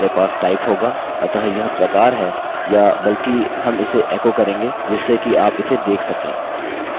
और इसके अंदर हमारे पास type होगा अतः यह प्रकार है या बल्कि हम इसे एको करेंगे जिससे कि आप इसे देख सकें